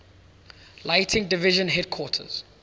lighting division headquarters